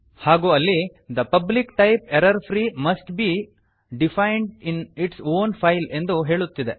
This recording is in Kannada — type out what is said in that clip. ಹಾಗೂ ಅಲ್ಲಿ the public type error free must be defined in its own file ಎಂದು ಹೇಳುತ್ತಿದೆ